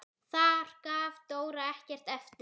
Þar gaf Dóra ekkert eftir.